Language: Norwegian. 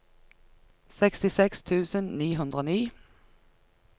sekstiseks tusen ni hundre og ni